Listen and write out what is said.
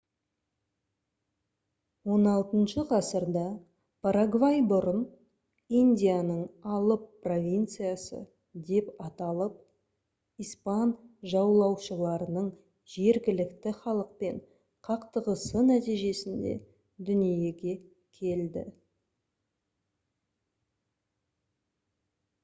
xvi ғасырда парагвай бұрын «индияның алып провинциясы» деп аталып испан жаулаушыларының жергілікті халықпен қақтығысы нәтижесінде дүниеге келді